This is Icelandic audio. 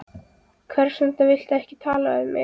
Hvers vegna viltu ekki tala við mig?